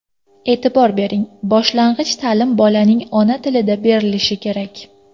E’tibor bering, boshlang‘ich ta’lim bolaning ona tilida berilishi kerak.